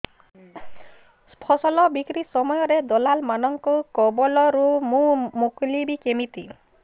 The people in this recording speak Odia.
ଫସଲ ବିକ୍ରୀ ସମୟରେ ଦଲାଲ୍ ମାନଙ୍କ କବଳରୁ ମୁଁ ମୁକୁଳିଵି କେମିତି